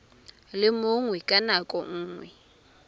le mongwe ka nako nngwe